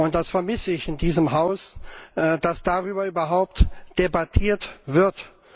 Das vermisse ich in diesem Haus, dass darüber überhaupt debattiert wird.